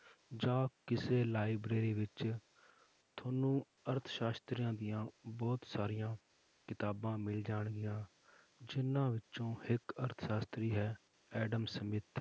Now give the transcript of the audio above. ਜਾਂ ਕਿਸੇ library ਵਿੱਚ ਤੁਹਾਨੂੰ ਅਰਥਸਾਸ਼ਤਰੀਆਂ ਦੀਆਂ ਬਹੁਤ ਸਾਰੀਆਂ ਕਿਤਾਬਾਂ ਮਿਲ ਜਾਣਗੀਆਂ ਜਿੰਨਾਂ ਵਿੱਚੋਂ ਇੱਕ ਅਰਥਸਾਸ਼ਤਰੀ ਹੈ ਐਡਮ ਸਮਿਥ